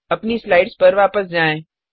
अपनी स्लाइड्स पर वापस जाएँ